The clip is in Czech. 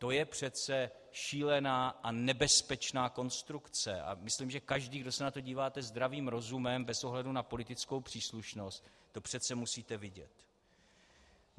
To je přece šílená a nebezpečná konstrukce a myslím, že každý, kdo se na to díváte zdravým rozumem, bez ohledu na politickou příslušnost, to přece musíte vidět.